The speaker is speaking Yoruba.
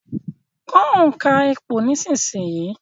Kọ́ òǹkà ìpò nísìsiyìí